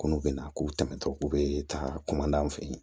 Ko n'u bɛna k'u tɛmɛtɔ k'u bɛ ta an fɛ yen